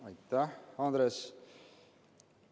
Aitäh, Andres!